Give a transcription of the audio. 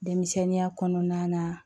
Denmisɛnninya kɔnɔna na